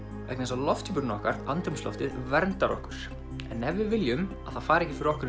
vegna þess að lofthjúpurinn okkar andrúmsloftið verndar okkur en ef við viljum að það fari ekki fyrir okkur